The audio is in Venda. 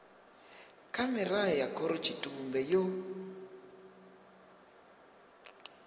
kha mirao ya khorotshitumbe yo